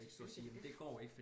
Selvfølgelig gør de det